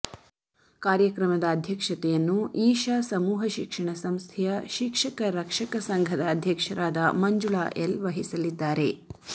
ಕಾರ್ಯಕ್ರಮದ ಅಧ್ಯಕ್ಷತೆಯನ್ನು ಈಶ ಸಮೂಹ ಶಿಕ್ಷಣ ಸಂಸ್ಥೆಯ ಶಿಕ್ಷಕ ರಕ್ಷಕ ಸಂಘದ ಅಧ್ಯಕ್ಷ ಮಂಜುಳ ಎಲ್ ವಹಿಸಲಿದ್ದಾರೆ